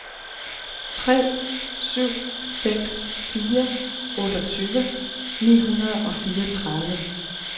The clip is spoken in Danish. tre syv seks fire otteogtyve ni hundrede og fireogtredive